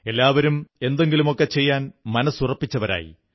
എല്ലാവരും എന്തെങ്കിലുമൊക്കെ ചെയ്യാൻ മനസ്സുറപ്പിച്ചവരായി